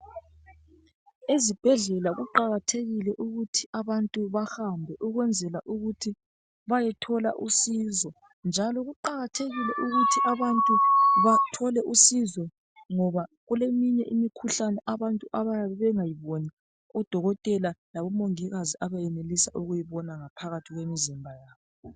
Ezibhedlela kuqakathekile ukuthi abantu bahambe ukwenzela ukuthi bayethola usizo njalo kuqakathekile ukuthi abantu bathole usizo ngoba kuleminye imikhuhlane abantu abayabe bengayiboni ,odokotela labomongikazi abenelisa ukuyibona ngaphakathi kwemizimba yabo.